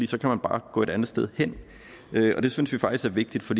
så kan man bare gå et andet sted hen det synes jeg faktisk er vigtigt for